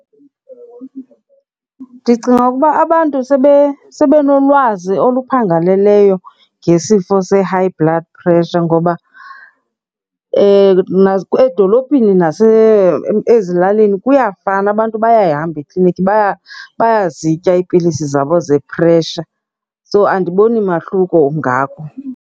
Ndicinga ukuba abantu sibenolwazi oluphangaleleyo ngesifo se-high blood pressure. Ngoba edolophini ezilalini kuyafana, abantu bayayihamba eklinikhi bayazitya iipilisi zabo ze-pressure. So, andiboni mahluko ungako.